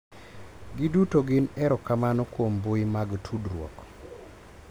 Giduto gin erokamano kuom mbui mag tudruok.